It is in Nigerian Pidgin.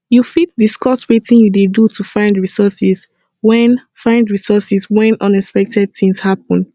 you fit discuss wetin you dey do to find resources when find resources when unexpected things happen